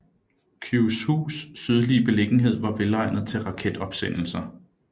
Kyushus sydlige beliggenhed var velegnet til raketopsendelser